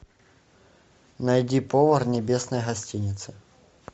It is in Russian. найди повар небесной гостиницы